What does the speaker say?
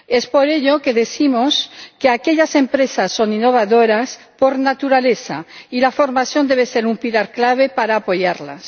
Por ello decimos que aquellas empresas son innovadoras por naturaleza, y la formación debe ser un pilar clave para apoyarlas.